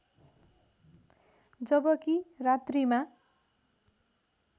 जबकि रात्रिमा